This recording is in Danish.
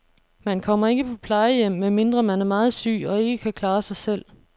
Man kommer ikke på plejehjem, medmindre man er meget syg og ikke kan klare sig selv.